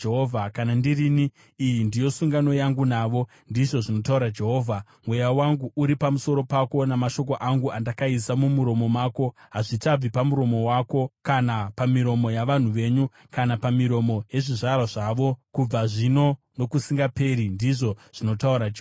“Kana ndirini, iyi ndiyo sungano yangu navo,” ndizvo zvinotaura Jehovha. “Mweya wangu uri pamusoro pako, namashoko angu andakaisa mumuromo mako hazvichabvi pamuromo wako, kana pamiromo yavana venyu, kana pamiromo yezvizvarwa zvavo kubva zvino nokusingaperi,” ndizvo zvinotaura Jehovha.